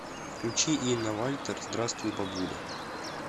включи инна вальтер здравствуй бабуля